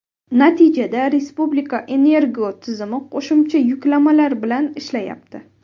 Natijada respublika energotizimi qo‘shimcha yuklamalar bilan ishlayapti.